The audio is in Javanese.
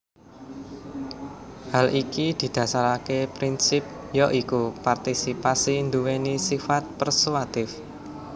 Hal iki didasaraké prinsip ya iku partisipasi nduwèni sifat persuatif